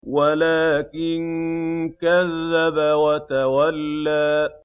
وَلَٰكِن كَذَّبَ وَتَوَلَّىٰ